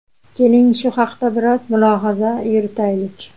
Keling, shu haqda biroz mulohaza yuritaylik.